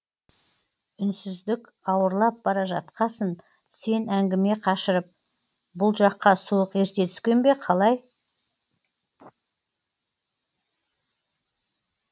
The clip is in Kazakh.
үнсіздік ауырлап бара жатқасын сен әңгіме қашырып бұл жаққа суық ерте түскен бе қалай